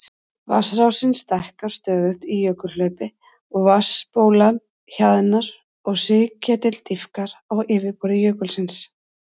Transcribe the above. Vatnsrásin stækkar stöðugt í jökulhlaupi og vatnsbólan hjaðnar og sigketill dýpkar á yfirborði jökulsins.